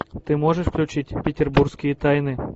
ты можешь включить петербургские тайны